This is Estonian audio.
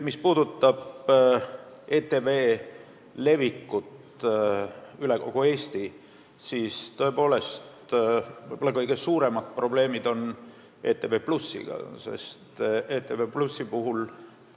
Mis puudutab ETV saadete näitamist kogu Eestis, siis võib-olla kõige suuremad probleemid on tõepoolest ETV+ kanaliga.